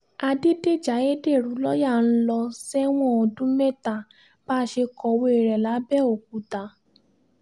àdédéjì ayédèrú lọ́ọ̀yà ń lọ sẹ́wọ̀n ọdún mẹ́ta bá a ṣe kọ̀wé rẹ̀ lápbẹ̀ọ́kúta